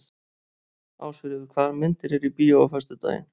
Ásfríður, hvaða myndir eru í bíó á föstudaginn?